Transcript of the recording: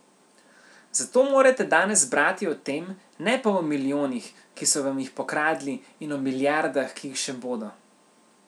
Zato morate danes brati o tem, ne pa o milijonih, ki so vam jih pokradli in o milijardah, ki jih še bodo.